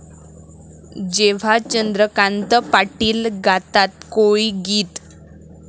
...जेव्हा चंद्रकांत पाटील गातात कोळी गीत!